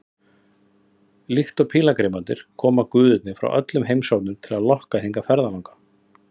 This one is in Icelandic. Líkt og pílagrímarnir koma guðirnir frá öllum heimshornum til að lokka hingað ferðalanga.